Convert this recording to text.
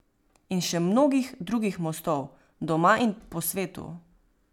In še mnogih drugih mostov, doma in po svetu.